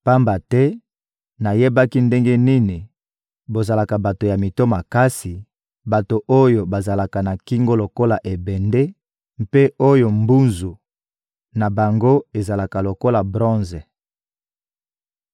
Pamba te nayebaki ndenge nini bozalaka bato ya mito makasi, bato oyo bazalaka na kingo lokola ebende mpe oyo mbunzu na bango ezalaka lokola bronze.